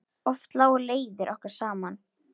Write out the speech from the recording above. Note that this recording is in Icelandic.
Oft lágu leiðir okkar saman.